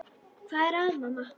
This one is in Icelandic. Hvað er að, mamma?